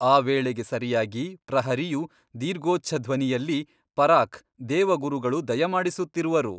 ಆ ವೇಳೆಗೆ ಸರಿಯಾಗಿ ಪ್ರಹರಿಯು ದೀರ್ಘೋಚ್ಛ ಧ್ವನಿಯಲ್ಲಿ ಪರಾಕ್ ದೇವಗುರುಗಳು ದಯಮಾಡಿಸುತ್ತಿರುವರು!